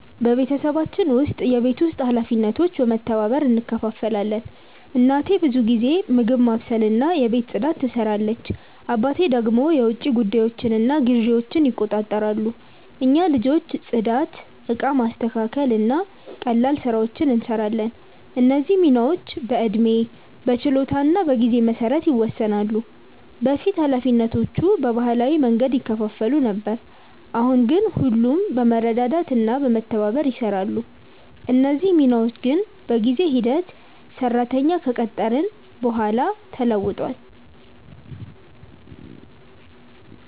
በቤተሰባችን ውስጥ የቤት ውስጥ ኃላፊነቶች በመተባበር እንከፋፈላለን። እናቴ ብዙ ጊዜ ምግብ ማብሰልና የቤት ፅዳት ትሰራለች፣ አባቴ ደግሞ የውጭ ጉዳዮችንና ግዢዎችን ይቆጣጠራሉ። እኛ ልጆች ጽዳት፣ እቃ ማስተካከል እና ቀላል ስራዎችን እንሰራለን። እነዚህ ሚናዎች በዕድሜ፣ በችሎታ እና በጊዜ መሰረት ይወሰናሉ። በፊት ኃላፊነቶቹ በባህላዊ መንገድ ይከፋፈሉ ነበር፣ አሁን ግን ሁሉም በመረዳዳት እና በመተባበር ይሰራሉ። እነዚህ ሚናዎች ግን በጊዜ ሂደት ሰራተኛ ከቀጠርን በኋላ ተለውጧል።